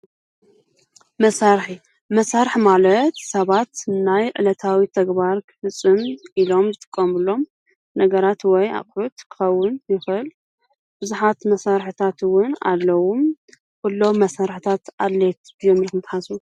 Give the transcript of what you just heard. መሳርሒ መሳርሒ ማለት ሰባት ናይ ዕለታዊ ተግባር ንክፍፁሙ ኢሎም ዝጥቀምሎም ናይ ነገራት ወይ ኣቁሑት ክከውን ይክእል። ብዙሓት መሳርሕታት እውን ኣለው። ኩሎም መሳርሒታት ኣድለይቲ ድ እዮም ኢልኩም ትሓስቡ?